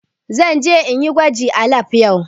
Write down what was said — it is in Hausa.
Zan je in yi gwaji a lab yau.